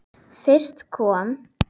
Fyrst kom